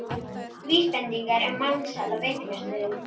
Vísbendingar um mansal á veitingastöðum